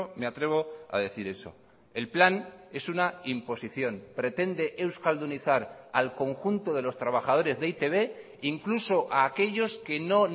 me atrevo a decir eso el plan es una imposición pretende euskaldunizar al conjunto de los trabajadores de e i te be incluso a aquellos que no